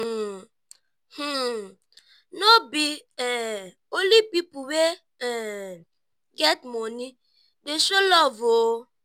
um no be um only pipu wey um get moni dey show love o.